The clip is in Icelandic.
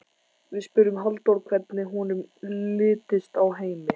Við spurðum Halldór hvernig honum litist á Heimi?